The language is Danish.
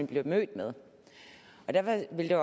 bliver mødt med derfor vil